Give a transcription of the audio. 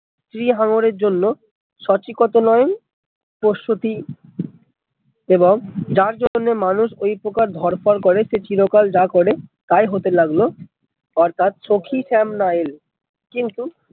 স্ত্রী হাঙ্গরের জন্য সচিকতনয়ন প্রস্তুতি এবং যার জতনে মানুষ ওই প্রকার ধড়পড় করে সে চিরকাল যা করে তাই হতে লাগলো অর্থাৎ কিন্তু